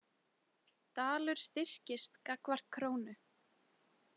Dalur styrkist gagnvart krónu